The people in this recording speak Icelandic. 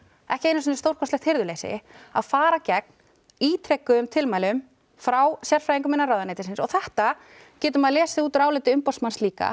ekki einu sinni stórkostlegt hirðuleysi að fara gegn ítrekuðum tilmælum frá sérfræðingum innan ráðuneytisins og þetta getur maður lesið út úr áliti umboðsmanns líka